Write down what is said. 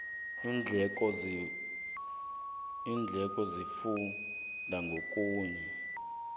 iindleko zihluka ngokuya